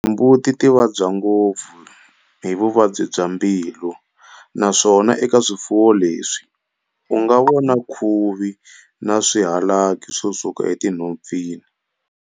Timbuti ti vabya ngopfu hi Vuvabyi bya mbilu naswona eka swifuvo leswi u nga vona khuvi na swihalaki ku suka enhompfini.